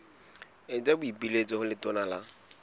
etsa boipiletso ho letona la